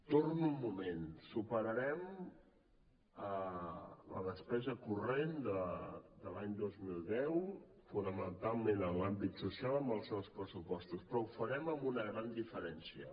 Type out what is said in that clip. torno un moment superarem la despesa corrent de l’any dos mil deu fonamentalment en l’àmbit social amb els nous pressupostos però ho farem amb una gran diferència